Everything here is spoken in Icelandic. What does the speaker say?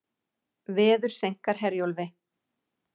Veður seinkar Herjólfi